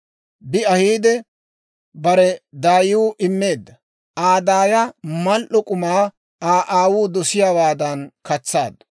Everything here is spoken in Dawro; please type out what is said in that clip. Bi ahiide bare daayiw immeedda; Aa daaya mal"o k'umaa Aa aawuu dosiyaawaadan katsaaddu.